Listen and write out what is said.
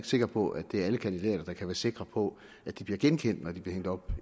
sikker på at det er alle kandidater der kan være sikre på at de bliver genkendt når de bliver hængt op